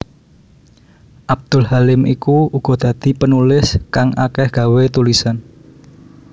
Abdul Halim iku uga dadi penulis kang akeh gawé tulisan